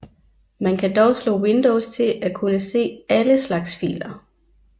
Man kan dog slå Windows til at kunne se ALLE slags filer